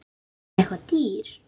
Er hann eitthvað dýr?